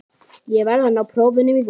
Ég verð að ná prófunum í vor.